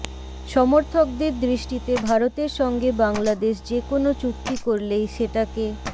সমর্থকদের দৃষ্টিতে ভারতের সঙ্গে বাংলাদেশ যে কোনো চুক্তি করলেই সেটাকে